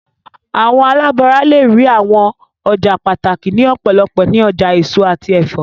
Awọn alabara le rii awọn ọja pataki ni ọpọlọpọ ni ọja eso ati ẹfọ